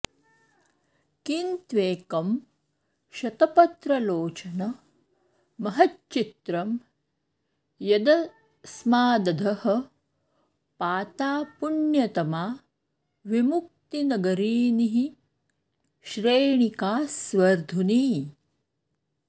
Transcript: किं त्वेकं शतपत्रलोचन महच्चित्रं यदस्मादधः पाता पुण्यतमा विमुक्तिनगरीनिःश्रेणिका स्वर्धुनी